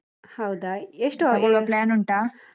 ಹೌದಾ, ಎಷ್ಟು .